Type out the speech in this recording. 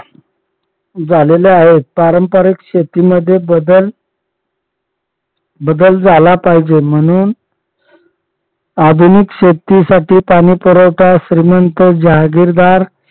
झालेल्या आहेत पारंपरिक शेतीमध्ये बदल बदल झाला पाहिजे म्हणून आधुनिक शेतीसाठी पाणीपुरवठा श्रीमंत जहागीरदार